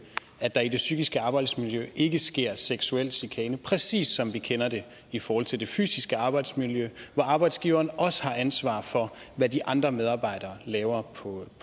at der i det psykiske arbejdsmiljø ikke sker seksuel chikane præcis som vi kender det i forhold til det fysiske arbejdsmiljø hvor arbejdsgiveren også har ansvar for hvad de andre medarbejdere laver på